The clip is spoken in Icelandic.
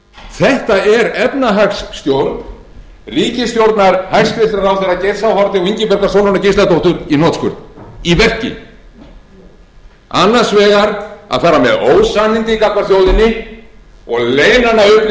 þetta er efnahagsstjórn ríkisstjórnar hæstvirtur ráðherra geirs h haarde og ingibjargar sólrúnar gísladóttur í hnotskurn í verki annars vegar að fara með ósannindi gagnvart þjóðinni og leyna hana upplýsingum og síðan að koma fram á þennan